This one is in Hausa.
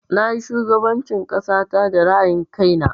Na yi shugaban cin ƙasata da ra'ayin kai na